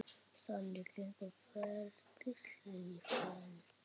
Þannig gengur ferlið sífellt áfram.